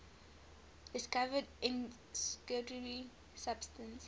discovered incendiary substance